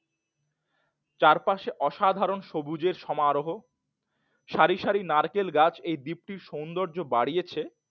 চার পাঁচ অসাধারণ সবুজের সমারোহ সারি সারি নারকেল গাছ এই দ্বীপটির সৌন্দর্য বাড়িয়েছে